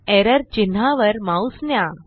error चिन्हावर mouse न्या